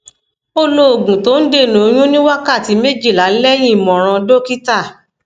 ó lo oògùn tó ń dènà oyún ní wákàtí méjìlá lẹyìn ìmọràn dókítà